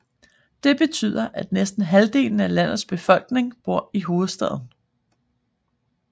Det betyder at næsten halvdelen af landets befolkning bor i hovedstaden